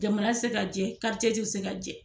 Jamana tɛ se ka jɛ, tɛ se ka jɛ.